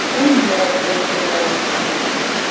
в чем дело спросил гарри